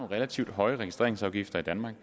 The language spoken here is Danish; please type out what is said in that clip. relativt høje registreringsafgifter i danmark